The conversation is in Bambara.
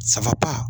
Saba